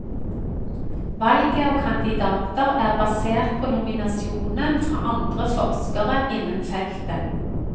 Valget av kandidater er basert på nominasjon fra andre forskere innen feltet.